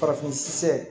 Farafin sɛ